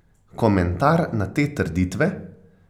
Komentar na te trditve?